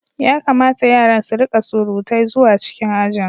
Ya kamata yaran su rika surutai zuwa cikin aji.